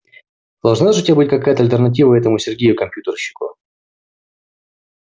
должна же у тебя быть какая-то альтернатива этому сергею компьютерщику